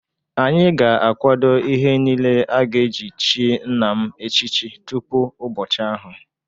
Anyị ga-akwado ihe niile a ga-eji chi nna m echichi tupu ụbọchị ahụ.